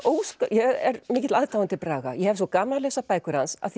er mikill aðdáandi Braga ég hef svo gaman af að lesa bækur hans að